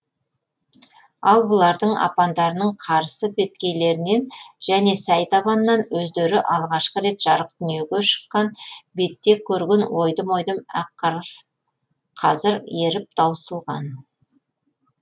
ал бұлардың апандарының қарсы беткейлерінен және сай табанынан өздері алғаш рет жарық дүниеге шыққан бетте көрген ойдым ойдым ақ қарлар қазір еріп таусылған